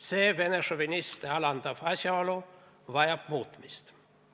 See Vene šoviniste alandav asjaolu vajab muutmist.